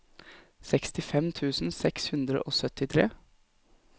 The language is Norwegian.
sekstifem tusen seks hundre og syttitre